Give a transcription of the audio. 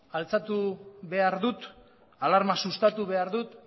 altxatu behar dut alarma sustatu behar dut